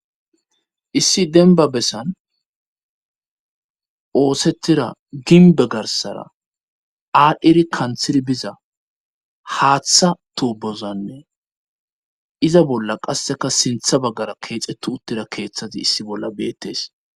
issi denba bessan oosettira ginbe garsara aadhdhiri kanthir biza haaththa tobozanne iza bolla qasseka sintha baggara keexettu uttira keeththati issi bolla beettes